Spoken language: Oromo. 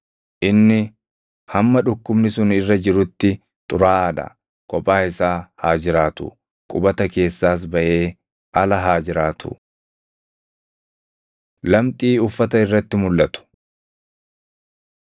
Inni hamma dhukkubni sun irra jirutti xuraaʼaa dha; kophaa isaa haa jiraatu; qubata keessaas baʼee ala haa jiraatu. Lamxii Uffata Irratti Mulʼatu